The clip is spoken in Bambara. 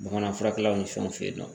Bamanan furakɛlaw ni fɛnw fe yen nɔ